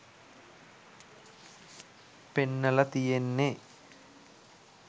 පෙන්නල තියෙන්නෙ.